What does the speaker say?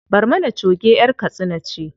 Barmana choge ƴar katsina ce.